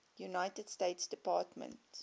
united states department